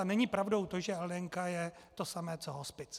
A není pravdou to, že LDN je to samé co hospic.